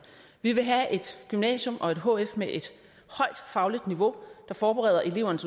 vi vil have et gymnasium og et hf med et højt fagligt niveau der forbereder eleverne